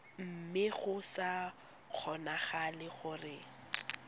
mme go sa kgonagale gore